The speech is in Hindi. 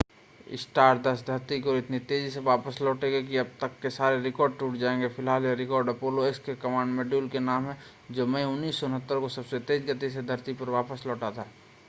स्टारडस्ट धरती की ओर इतनी तेज़ी से वापस लौटेगा कि अब तक के सारे रिकॉर्ड टूट जाएंगे फ़िलहाल यह रिकॉर्ड अपोलो x के कमांड मॉड्यूल के नाम है जो मई 1969 में सबसे तेज़ गति से धरती में वापस लौटा था